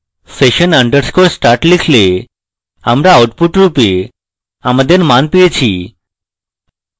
session _ start লিখলে আমরা output রূপে আমাদের মান পেয়েছি